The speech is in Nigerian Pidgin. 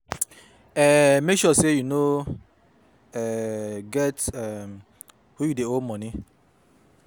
um Mek sure say yu no um get um who yu dey owe moni